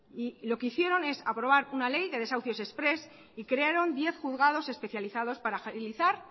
lo que hicieron es aprobar una ley de desahucios exprés y crearon diez juzgados especializados para agilizar